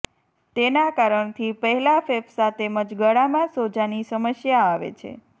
તેના કારણથી પેહલા ફેફસા તેમજ ગળામાં સોજાની સમસ્યા આવે છે